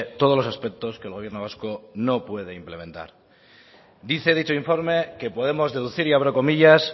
todos los aspectos que el gobierno vasco no puede implementar dice dicho informe que podemos deducir y abro comillas